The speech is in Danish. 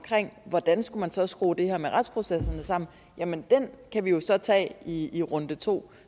hvordan man så skulle skrue det her med retsprocesserne sammen kan vi jo så tage i i runde to